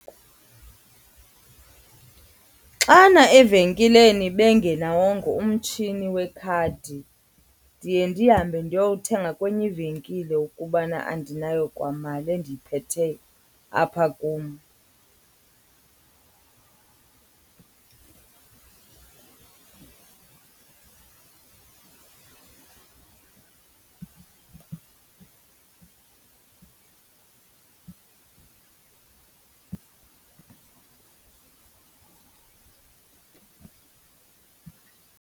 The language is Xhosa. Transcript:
Xana evenkileni bengenawongo umtshini wekhadi ndiye ndihambe ndiyothenga kwenye ivenkile ukubana andinayo kwa mali endiyiphetheyo apha kum.